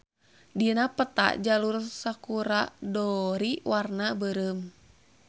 Dina peta Jalur Sakura-dori warna beureum.